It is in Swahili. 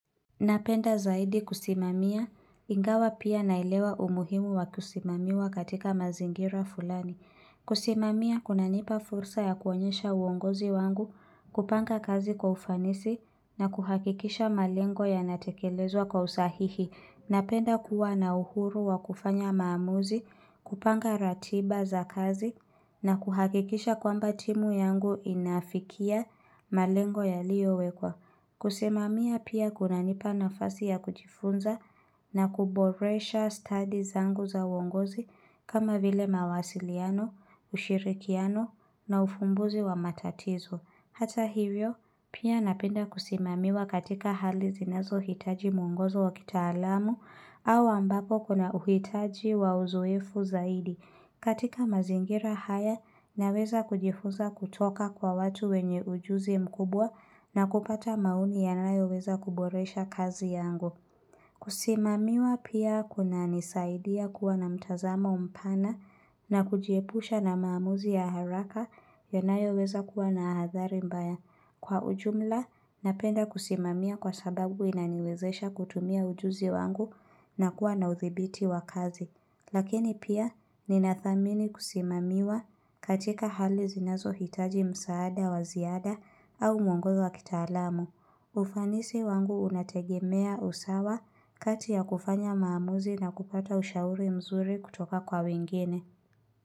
Napenda zaidi kusimamia, ingawa pia naelewa umuhimu wa kusimamiwa katika mazingira fulani. Kusimamia kuna nipa fursa ya kuonyesha uongozi wangu, kupanga kazi kwa ufanisi, na kuhakikisha malengo ya natekelezwa kwa usahihi. Napenda kuwa na uhuru wa kufanya maamuzi, kupanga ratiba za kazi, na kuhakikisha kwamba timu yangu inafikia malengo ya liyo wekwa. Kusimamia pia kuna nipa nafasi ya kujifunza na kuboresha stadi zangu za uongozi kama vile mawasiliano, ushirikiano na ufumbuzi wa matatizo. Hata hivyo, pia napenda kusimamiwa katika hali zinazo hitaji muongozo wa kita alamu au ambako kuna uhitaji wa uzoefu zaidi. Katika mazingira haya, naweza kujifunza kutoka kwa watu wenye ujuzi mkubwa na kupata maoni yanayo weza kuboresha kazi yangu. Kusimamiwa pia kuna nisaidia kuwa na mtazamo mpana na kujiepusha na maamuzi ya haraka yanayo weza kuwa na hadhari mbaya. Kwa ujumla, napenda kusimamia kwa sababu inaniwezesha kutumia ujuzi wangu na kuwa na uthibiti wa kazi. Lakini pia ninathamini kusimamiwa katika hali zinazo hitaji msaada wa ziada au mwongozo wa kitalamu. Ufanisi wangu unategemea usawa kati ya kufanya maamuzi na kupata ushauri mzuri kutoka kwa wengine.